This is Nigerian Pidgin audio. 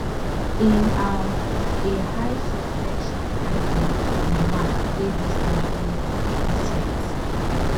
in um a high suspension hanging di mark dey distantly different